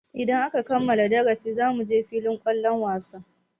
Idan aka kammala darasin zamuje filin kwallon wasa.